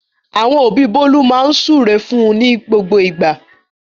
Àwọn òbí Bólú máa ń súre fún ní gbogbo ìgbà.